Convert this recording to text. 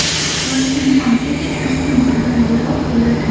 Bosh dam olgach, dars samaraliroq bo‘ladi.